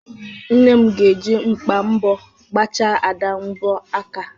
Nne m ga-eji mkpa mbọ gbachaa Ada mbọ aka.